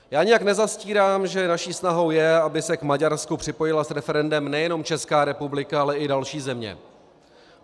Já nijak nezastírám, že naší snahou je, aby se k Maďarsku připojila s referendem nejenom Česká republika, ale i další země.